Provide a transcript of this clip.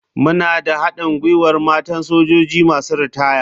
Muna da haɗin gwiwar matan sojoji masu ritaya.